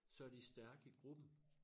Så de stærke i gruppen